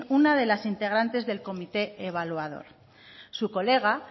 una de las integrantes del comité evaluador su colega